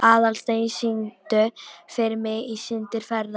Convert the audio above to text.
Aðalsteinunn, syngdu fyrir mig „Syndir feðranna“.